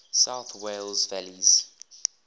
south wales valleys